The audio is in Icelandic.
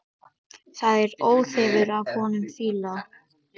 Það er óþefur af honum fýla!